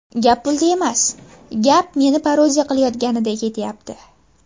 Gap pulda emas, gap meni parodiya qilayotganida ketyapti.